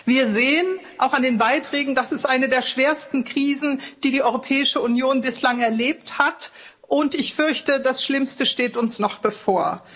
Wir sehen auch an den Beiträgen Das ist eine der schwersten Krisen, die die Europäische Union bislang erlebt hat, und ich fürchte, das Schlimmste steht uns noch bevor.